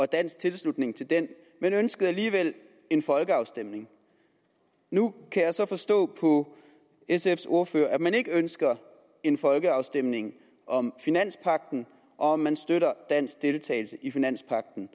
dansk tilslutning til den men ønskede alligevel en folkeafstemning nu kan jeg så forstå på sfs ordfører at man ikke ønsker en folkeafstemning om finanspagten og om man støtter dansk deltagelse i finanspagten